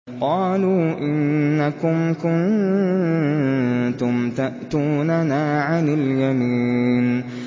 قَالُوا إِنَّكُمْ كُنتُمْ تَأْتُونَنَا عَنِ الْيَمِينِ